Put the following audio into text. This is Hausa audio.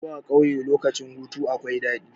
Zuwa ƙauye lokacin hutu akwai daɗi.